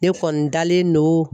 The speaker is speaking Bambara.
Ne kɔni dalen don